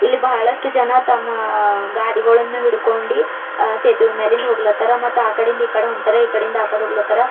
ಇಲ್ಲಿ ಬಹಳಷ್ಟ ಜನ ತಮ್ಮ ಗಾಡಿಗಳನ್ನು ಹಿಡಿದುಕೊಂಡಿ ಅ ಸೇತುವೆ ಮ್ಯಾಲಿಂದ್ ಹೋಗ್ಲಾತಾರ ಮತ್ ಆಕಡಿ ಇಂದ ಇಕಡಿ ಹೊಂಟಾರ ಇಕಡಿಯಿಂದ ಆಕಡೆ ಹೋಗ್ಲಾತಾರ.